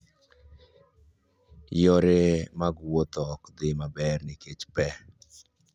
Yore mag wuoth ok dhi maber nikech pe.